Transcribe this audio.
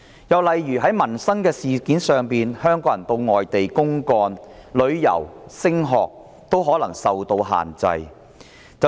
又例如在民生方面，香港人前往外地公幹、旅遊及升學均可能受到限制。